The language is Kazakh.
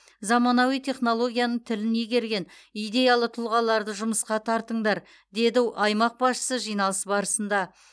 заманауи технологияның тілін игерген идеялы тұлғаларды жұмысқа тартыңдар деді аймақ басшысы жиналыс барысында